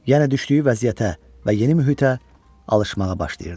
Yenə düşdüyü vəziyyətə və yeni mühitə alışmağa başlayırdı.